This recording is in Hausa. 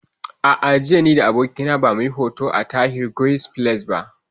A'a, jiya ni da abokina ba mu yi hoto a Tahir Guest Palace ba